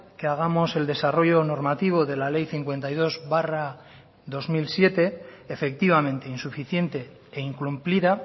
que hagamos el desarrollo normativo de la ley cincuenta y dos barra dos mil siete efectivamente insuficiente e incumplida